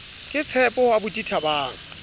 ke tshepo ho aubuti thabang